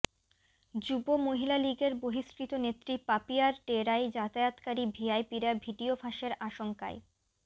যুব মহিলা লীগের বহিষ্কৃত নেত্রী পাপিয়ার ডেরায় যাতায়াতকারী ভিআইপিরা ভিডিও ফাঁসের আশঙ্কায়